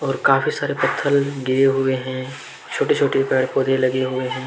काफी सारे पत्थर गिरे हुए हैं छोटे छोटे पेड़ पौधे लगे हुए हैं।